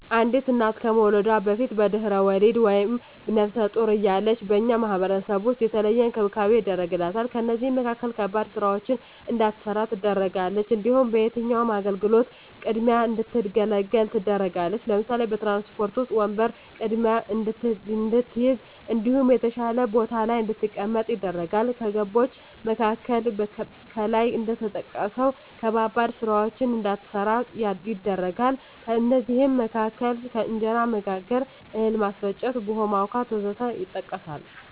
አንዲት እና ከመዉለዷ በፊት(በድሕረ ወሊድ)ወይም ነብሰ ጡር እያለች በእኛ ማህበረሰብ ዉስጥ የተለየ እንክብካቤ ይደረግላታል ከእነዚህም መካከል ከባድ ስራወችን እንዳትሰራ ትደረጋለች። እንዲሁም ከየትኛዉም አገልግሎት ቅድሚያ እንድትገለገል ትደረጋለች ለምሳሌ፦ በትራንስፖርት ዉስጥ ወንበር ቀድማ እንድትይዝ እንዲሁም የተሻለ ቦታ ላይ እንድትቀመጥ ይደረጋል። ከገደቦች መካከል ከላይ እንደተጠቀሰዉ ከባባድ ስራወችን እንዳትሰራ ይደረጋል ከእነዚህም መካከል እንጀራ መጋገር፣ እህል ማስፈጨት፣ ቡሆ ማቡካት ወዘተ ይጠቀሳል